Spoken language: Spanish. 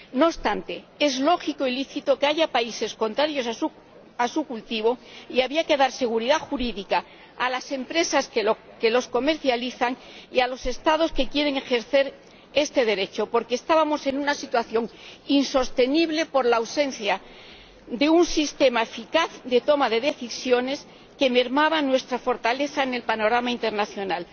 No obstante, es lógico y lícito que haya países contrarios a su cultivo y había que dar seguridad jurídica a las empresas que los comercializan y a los Estados que quieren ejercer este derecho, porque estábamos en una situación insostenible por la ausencia de un sistema eficaz de toma de decisiones que mermaba nuestra fortaleza en el panorama internacional.